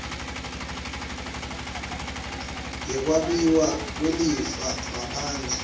yekwabiwa kwelifa ngaphandle